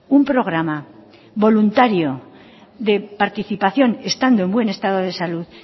un programa voluntario de participación estando en buen estado de salud